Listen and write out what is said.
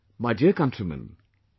My dear countrymen,